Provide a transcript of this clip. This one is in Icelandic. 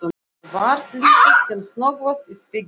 Varð litið sem snöggvast í spegilinn.